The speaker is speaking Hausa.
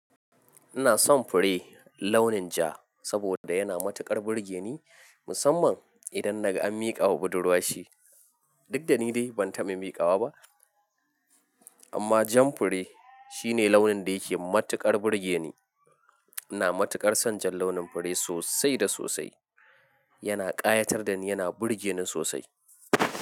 Ina son fure launin ja, saboda yana matuƙar burge ni, musamman idan naga an miƙawa budurwa shi. Duk da ni dai ban taɓa miƙawa ba amma jan fure shine launin da yake matuƙar burge ni. Ina matuƙar son jan launin fure sosai da sosai. Yana ƙayatar da ni, yana burge ni sosai.